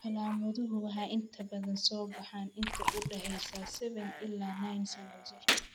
Calaamaduhu waxay inta badan soo baxaan inta u dhaxaysa 7 ilaa 9 sano jir.